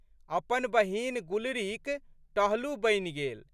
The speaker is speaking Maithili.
अपन बहिन गुलरीक टहलू बनि गेल।